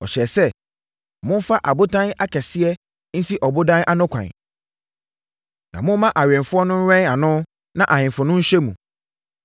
ɔhyɛɛ sɛ, “Momfa abotan akɛseɛ nsi ɔbodan no ano kwan, na momma awɛmfoɔ no nnwɛn ano na ahemfo no nhyɛ mu.